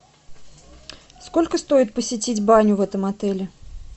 сколько стоит посетить баню в этом отеле